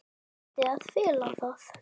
Reyndi að fela það.